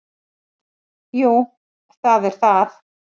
Jú, það er það